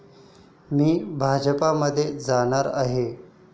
मी भाजपमध्ये जाणार आहे.